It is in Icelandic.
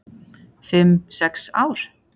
"""Fimm, sex ár?"""